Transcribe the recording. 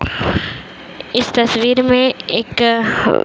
इस तस्वीर में एक --